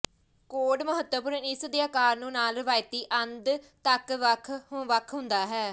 ਕੌਡ ਮਹੱਤਵਪੂਰਨ ਇਸ ਦੇ ਆਕਾਰ ਨੂੰ ਨਾਲ ਰਵਾਇਤੀ ਅੰਧ ਤੱਕ ਵੱਖ ਵੱਖ ਹੁੰਦਾ ਹੈ